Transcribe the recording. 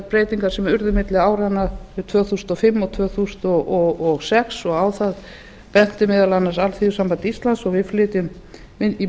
breytingar sem urðu milli áranna tvö þúsund og fimm og tvö þúsund og sex og á það benti meðal annars alþýðusamband íslands og við flytjum í